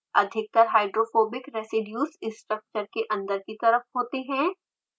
अधिकतर hydrophobic residues structure के अन्दर की तरफ होते हैं